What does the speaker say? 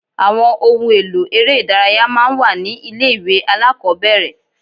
Àwọn ohun èlò eré ìdárayá máa ń wà ní ilé ìwé alákọ̀ọ́bẹ̀rẹ̀.